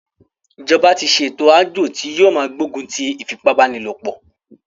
Ìjọba tí ṣe ẹ̀tò àjọ tí yóò máa gbógun ti ìfipábánilòpọ̀.